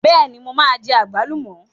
Bẹ́ẹ̀ni, mo máa jẹ àgbálùmọ̀